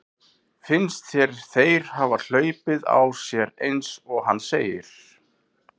Finnst þér þeir hafa hlaupið á sér eins og hann segir?